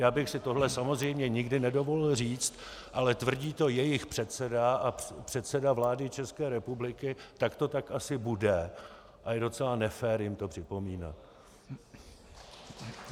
Já bych si tohle samozřejmě nikdy nedovolil říct, ale tvrdí to jejich předseda a předseda vlády České republiky, tak to tak asi bude a je docela nefér jim to připomínat.